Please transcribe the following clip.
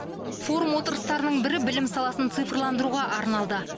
форум отырыстарының бірі білім саласын цифрландыруға арналды